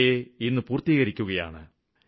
അവയെ ഇന്ന് പൂര്ത്തീകരിക്കുകയാണ്